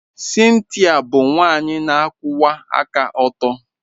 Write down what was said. Cynthia bụ nwanyị na-akwụwa aka ọtọ.